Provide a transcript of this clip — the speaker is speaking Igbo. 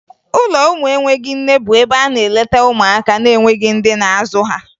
Ụlọ ụmụ enweghi nne bụ ebe a na-eleta ụmụaka na-enweghi ndị na-azụ ha